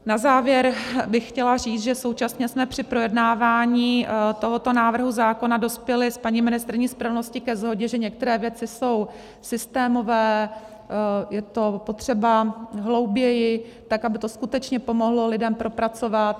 Na závěr bych chtěla říct, že současně jsme při projednávání tohoto návrhu zákona dospěli s paní ministryní spravedlnosti ke shodě, že některé věci jsou systémové, je to potřeba hlouběji, tak aby to skutečně pomohlo lidem, propracovat.